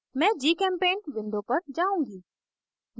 मैं gchempaint window पर जाउंगी